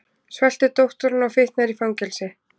Svelti dótturina og fitnar í fangelsi